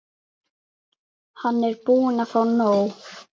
Hann er búinn að fá nóg.